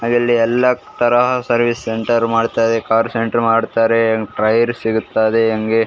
ಅಲ್ಲಲ್ಲಿ ಎಲ್ಲಾ ತರ ಸರ್ವೀಸ್ ಸೆಂಟರ್ ಮಾಡ್ತಾರೆ ಕಾರ್ ಸೆಂಟರ್ ಮಾಡ್ತಾರೆ ಟಯರ್ ಸಿಗುತ್ತದೆ ಹಂಗೆ --